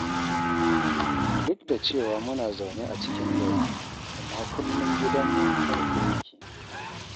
Duk da cewa muna zaune a cikin gari, amma kullum gidanmu a rufe ya ke.